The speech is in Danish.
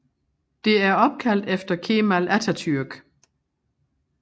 Det er opkaldt efter Kemal Atatürk